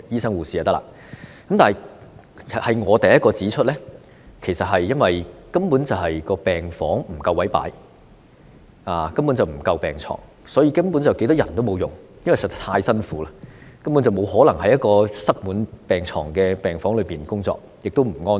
我是第一個指出，問題根本是因為病房不夠位擺放病床，以致沒有足夠的病床，所以有多少人手也沒有用，因為實在太辛苦了，根本不可能在一個塞滿病床的病房中工作，而且也不安全。